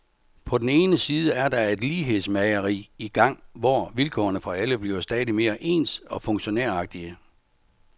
På den ene side er der et lighedsmageri i gang, hvor vilkårene for alle bliver stadig mere ens og funktionæragtige.